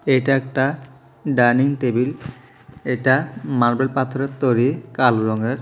এটা একটা dining table এটা মার্বেল পাথরের তৈরি কালো রঙের।